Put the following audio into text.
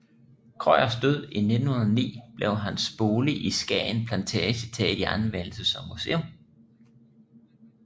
Krøyers død i 1909 blev hans bolig i Skagen Plantage taget i anvendelse som museum